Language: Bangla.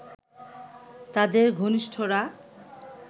তাদের ঘনিষ্ঠরা